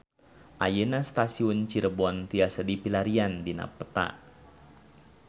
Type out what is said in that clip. Ayeuna Stasiun Cirebon tiasa dipilarian dina peta